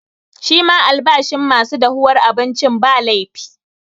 Shi ma albashin ma su dahuwar abincin, ba laifi.